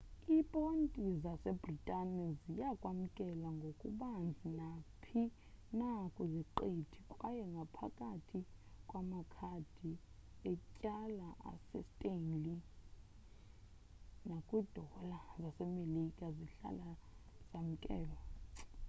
iiponti zasebritane ziya kwamkelwa ngokubanzi naphi na kwiziqithi kwaye ngaphakathi kwamakhadi etyala asestanley nakwiidola zasemelika zihlala zamkelwe